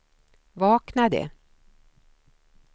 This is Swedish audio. vaknade